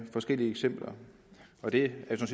forskellige eksempler og det er